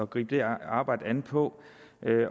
gribe det arbejde an på